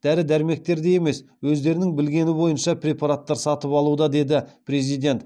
дәрі дәрмектерді емес өздерінің білгені бойынша препараттар сатып алуда деді президент